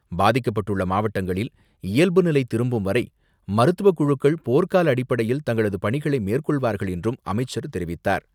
பாதிக்கப்பட்டுள்ள மாவட்டங்களில் இயல்பு நிலை திரும்பும்வரை மருத்துவக்குழுக்கள் போர்கால அடிப்படையில் தங்களது பணிகளை மேற்கொள்வார்கள் என்றும் அமைச்சர் தெரிவித்தார்.